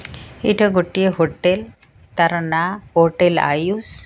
ଏଇଟା ଗୋଟିଏ ହୋଟେଲ୍ ତାର ନା ହୋଟେଲ୍ ଆୟୁସ୍।